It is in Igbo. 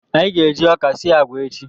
Anyị ga-eji ọka sie agwa echi